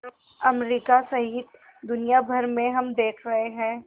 America सहित दुनिया भर में हम देख रहे हैं